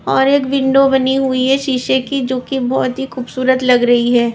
और एक विंडो बनी हुई है शीशे की जो कि बहुत ही खूबसूरत लग रही है।